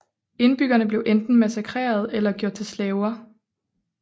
Indbyggerne blev enten massakreret eller gjort til slaver